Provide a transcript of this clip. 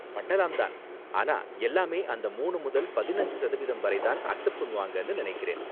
பண்ணலாம் தான், ஆனா எல்லாமே அந்த மூனு முதல் பதினஞ்சு சதவீதம் வரை தான் அக்சப்ட் பண்ணுவாங்கனு நினைக்கிறேன்